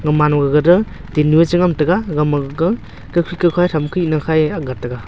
gaman ma gaga tingnu a che ngan tega gama gaga kawkhi kawkhan tham kahe na a aak ga taiga.